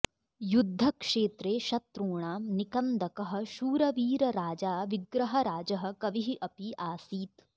युद्धक्षेत्रे शत्रूणां निकन्दकः शूरवीरराजा विग्रहराजः कविः अपि आसीत्